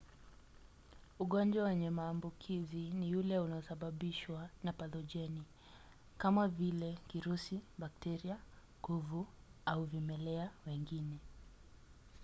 ugonjwa wenye maambukizi ni ule unaosababishwa na pathojeni kama vile kirusi bakteria kuvu au vimelea wengine